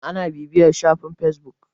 ana bibiyar shafin a fesbuk